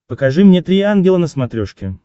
покажи мне три ангела на смотрешке